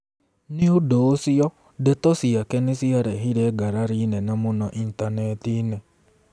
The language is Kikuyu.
Nĩ ũndũ ũcio, ndeto ciake nĩ ciarehire ngarari nene mũno Intaneti-inĩ.